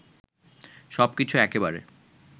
সবকিছু একেবারে